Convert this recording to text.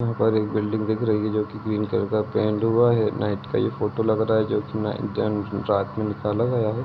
यहाँ पर एक बिल्डिंग दिख रही है जोके ग्रीन कलर का पेंट हुआ है नाईट का ये फोटो लग रहा है जोकि रात मैं निकाला गया है ।